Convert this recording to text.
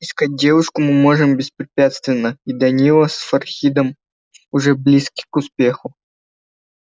искать девушку мы можем беспрепятственно и данила с фархидом уже близки к успеху